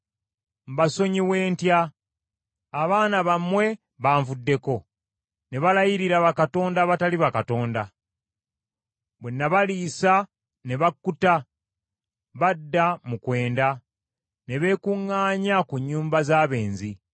“Mbasonyiwe ntya? Abaana bammwe banvuddeko, ne balayiririra bakatonda abatali bakatonda. Bwe nabaliisa ne bakkuta, badda mu kwenda, ne beekuŋŋaanya ku nnyumba z’abenzi.